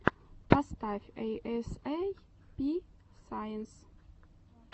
поставь эй эс эй пи сайенс